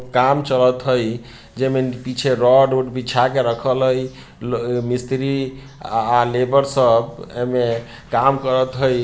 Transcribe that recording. काम चलत हई जेमें न पीछे रोड - उड बिछा के रखल हई ल मिस्री आ-आ लेबर पर सब एमें काम करत हई।